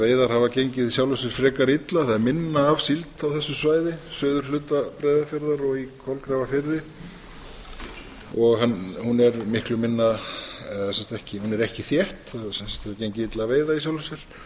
veiðar hafa gengið í sjálfu sér frekar illa það er minna af síld á þau svæði suðurhluta breiðafjarðar og í kolgrafafirði hún er ekki þétt hefur gengið illa að veiða í sjálfu